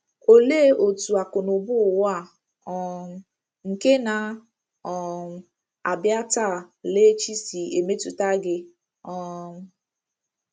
Olee otú akụnụba ụwa a um nke na um - abịa taa laa echi si emetụta gị um?